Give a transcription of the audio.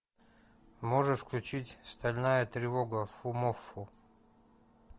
можешь включить стальная тревога фумоффу